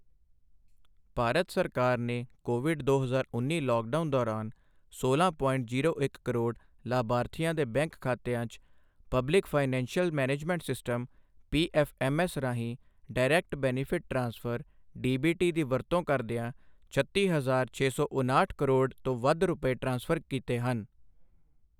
ਭਾਰਤ ਸਰਕਾਰ ਨੇ ਕੋਵਿਡ ਦੋ ਹਜ਼ਾਰ ਉੱਨੀ ਲੌਕਡਾਊਨ ਦੌਰਾਨ ਸੋਲਾਂ ਪੋਇੰਟ ਜ਼ੀਰੋ ਇੱਕ ਕਰੋੜ ਲਾਭਾਰਥੀਆਂ ਦੇ ਬੈਂਕ ਖਾਤਿਆਂ 'ਚ public financial management system PFMS ਰਾਹੀਂ ਡਾਇਰੈਕਟ ਬੈਨੇਫ਼ਿਟ ਟ੍ਰਾਂਸਫ਼ਰ ਡੀਬੀਟੀ ਦੀ ਵਰਤੋਂ ਕਰਦਿਆਂ ਛੱਤੀ ਹਜਾਰ ਛੇ ਸੌ ਉਨਾਹਠ ਕਰੋੜ ਤੋਂ ਵੱਧ ਰੁਪਏ ਟ੍ਰਾਂਸਫ਼ਰ ਕੀਤੇ ਹਨ।